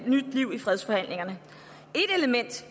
nyt liv i fredsforhandlingerne et element